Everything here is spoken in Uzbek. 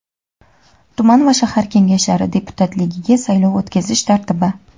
tuman va shahar Kengashlari deputatligiga saylov o‘tkazish tartibi.